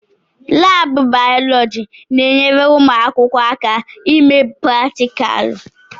Laabụ bayọlọji na-enyere ụmụ akwụkwọ aka ime pratikalụ.